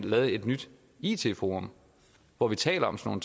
lavet et nyt it forum hvor vi taler om sådan